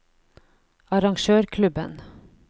arrangørklubben